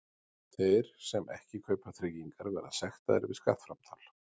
Þeir sem ekki kaupa tryggingar verða sektaðir við skattframtal.